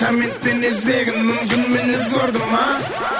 комментпен іздегін мүмкін мен өзгердім а